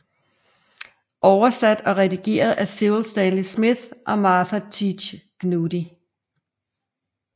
Over sat og redigeret af Cyril Stanley Smith og Martha Teach Gnudi